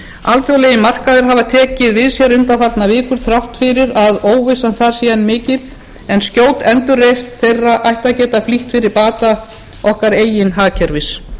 alþjóðlegir markaðir hafa tekið við sér undanfarnar vikur þrátt fyrir að óvissan þar sé mikil en skjót endurreisn þeirra ætti að geta flýtt fyrir bata okkar eigin hagkerfis